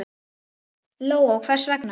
Lóa: Og hvers vegna?